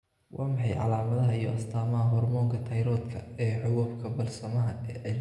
Waa maxay calaamadaha iyo astaamaha hoormoonka tayroodhka ee xuubabka balasmaha ee cilladaha gaadiidka?